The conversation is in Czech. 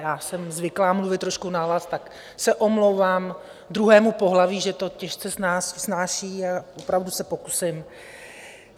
Já jsem zvyklá mluvit trošku nahlas, tak se omlouvám druhému pohlaví, že to těžce snáší, a opravdu se pokusím.